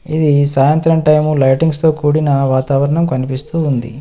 ఇది సాయంత్రం టైము లైటింగ్స్తో కూడిన వాతావరణం కనిపిస్తూ ఉంది.